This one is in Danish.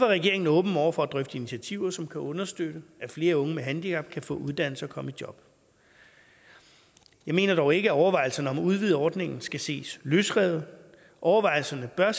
regeringen åben over for at drøfte initiativer som kan understøtte at flere unge med handicap kan få uddannelse og komme i job jeg mener dog ikke at overvejelserne om at udvide ordningen skal ses løsrevet overvejelserne bør